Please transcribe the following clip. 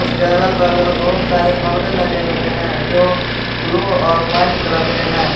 उसके अगल बगल बहुत सारे परदे लगे हुए हैं जो ब्लू और वाइट कलर के हैं।